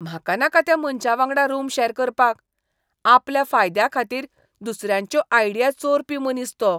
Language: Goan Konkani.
म्हाका नाका त्या मनशावांगडा रूम शॅर करपाक. आपल्या फायद्याखातीर दुसऱ्यांच्यो आयडिया चोरपी मनीस तो.